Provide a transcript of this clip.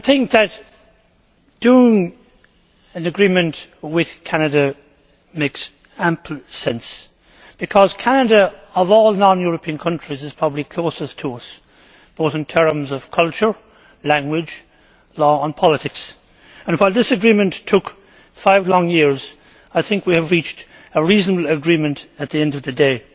Concluding an agreement with Canada makes ample sense because Canada, of all non European countries, is probably closest to us in terms of culture, language, law and politics and, while this agreement took five long years, I think we have reached a reasonable agreement at the end of the day.